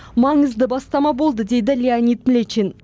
маңызды бастама болды дейді леонид млечин